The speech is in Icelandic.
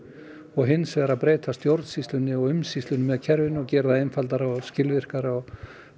og hins vegar að breyta stjórnsýslunni og umsýslunni með kerfinu og gera það einfaldara og skilvirkara